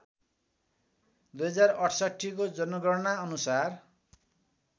२०६८ को जनगणनाअनुसार